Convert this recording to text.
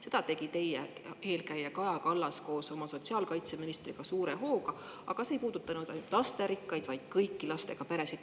Seda tegi teie eelkäija Kaja Kallas koos oma sotsiaalkaitseministriga suure hooga, aga see ei puudutanud ainult lasterikkaid, vaid kõiki lastega peresid.